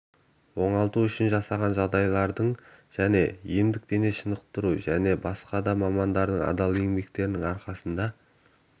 оңалту үшін жасалған жағдайлардың және емдік дене шынықтыру және басқа да мамандардың адал еңбектерінің арқасында